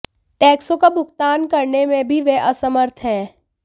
टैक्सों का भुगतान करने में भी वे असमर्थ हैं